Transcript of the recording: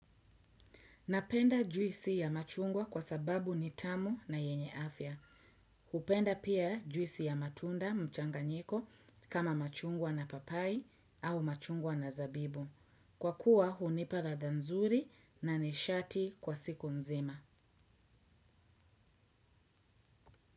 Napenda juisi ya machungwa kwa sababu ni tamu na yenye afya. Hupenda pia juisi ya matunda mchanganyiko kama machungwa na papai au machungwa na zabibu. Kwa kuwa hunipa ladha nzuri na nishati kwa siku nzima.